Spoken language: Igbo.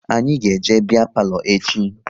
Anyị ga eje biya palo echi